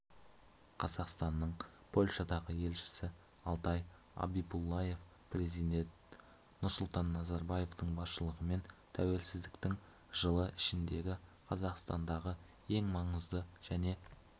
қазақстанның польшадағы елшісі алтай абибуллаев президент нұрсұлтан назарбаевтың басшылығымен тәуелсіздіктің жылы ішіндегі қазақстанның ең маңызды және